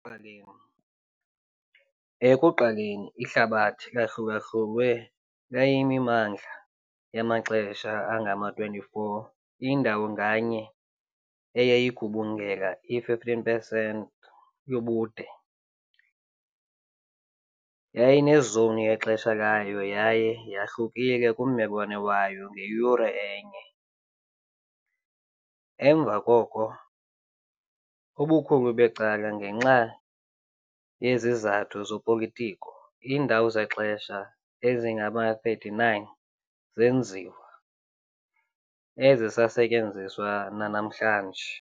Ekuqaleni, Ekuqaleni ihlabathi lahlulahlulwe layimimandla yamaxesha angama-24, indawo nganye eyayigubungela i-15 pesenti yobude, yayinezowuni yexesha layo yaye yahlukile kummelwane wayo ngeyure enye. Emva koko, ubukhulu becala ngenxa yezizathu zezopolitiko, iindawo zexesha ezingama-39 zenziwa, ezisasetyenziswa nanamhlanje.